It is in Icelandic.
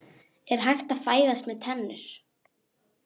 Er hægt að fæðast með tennur?